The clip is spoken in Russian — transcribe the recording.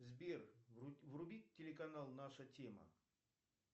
сбер вруби телеканал наша тема